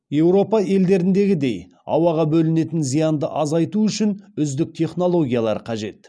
еуропа елдеріндегідей ауаға бөлінетін зиянды азайту үшін үздік технологиялар қажет